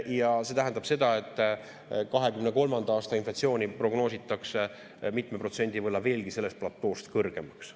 Ja see tähendab seda, et 2023. aasta inflatsiooni prognoositakse mitme protsendi võrra veelgi sellest platoost kõrgemaks.